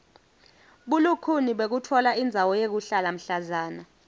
bulukhuni bekutfola indzawo yekuhlala mhlazana